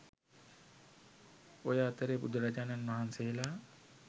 ඔය අතරේ බුදුරජාණන් වහන්සේලා